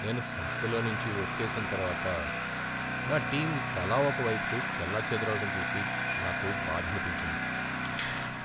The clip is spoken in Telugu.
నేను సంస్థలో నుంచి వచ్చేసిన తర్వాత నా టీం తలా ఒక వైపుకు చెల్లాచెదురవడం చూసి నాకు బాధనిపించింది.